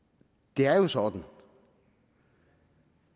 det er jo sådan